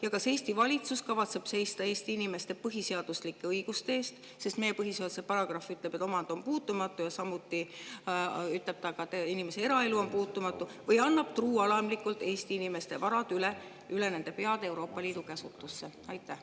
Ja kas Eesti valitsus kavatseb seista Eesti inimeste põhiseaduslike õiguste eest – meie põhiseaduse paragrahv ütleb, et omand on puutumatu, ja samuti ütleb ta, et inimese eraelu on puutumatu – või annab truualamlikult Eesti inimeste varad üle nende peade Euroopa Liidu käsutusse?